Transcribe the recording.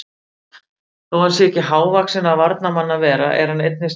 Þó hann sé ekki hávaxinn af varnarmanni að vera er hann einnig sterkur í loftinu.